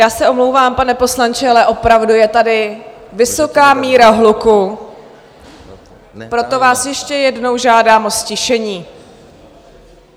Já se omlouvám, pane poslanče, ale opravdu je tady vysoká míra hluku, proto vás ještě jednou žádám o ztišení.